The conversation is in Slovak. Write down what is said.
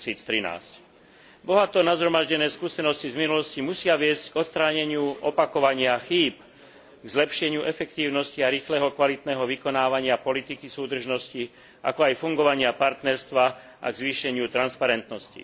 2013. Bohato nazhromaždené skúsenosti z minulosti musia viesť k odstráneniu opakovania chýb, k zlepšeniu efektívnosti a rýchleho a kvalitného vykonávania politiky súdržnosti, ako aj fungovania partnerstva a k zvýšeniu transparentnosti.